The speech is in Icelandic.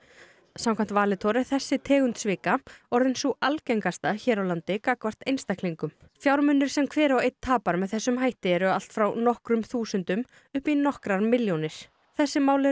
samkvæmt Valitor er þessi tegund svika orðin sú algengasta hér á landi gagnvart einstaklingum fjármunir sem hver og einn tapar með þessum hætti eru allt frá nokkrum þúsundum upp í nokkrar milljónir þessi mál eru